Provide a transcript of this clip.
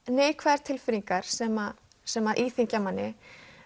neikvæðar tilfinningar sem sem að íþyngja manni